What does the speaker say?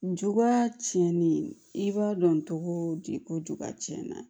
Njuguma tiɲɛnni i b'a dɔn cogo di ko juguya tiɲɛna